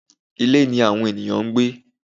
Ilé ni àwọn ènìyàn ń gbé.